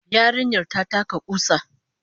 Yarinyar ta taka kusa